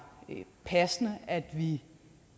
passende at vi